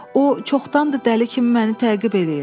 O çoxdandır dəli kimi məni təqib eləyir.